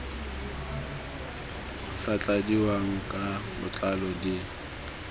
sa tladiwang ka botlalo di